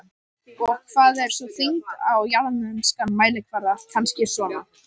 Og hvað er sú þyngd á jarðneskan mælikvarða, kannski svona